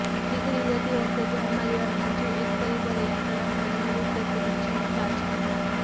ટીકડી લેતી વખતે ધ્યાનમાં લેવાનું બીજું એક પરિબળ એ આંતરડામાં રહેવું તે તેની ક્ષમતા છે